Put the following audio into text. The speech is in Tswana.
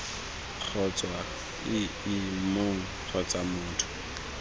kgotsa ii mong kgotsa motho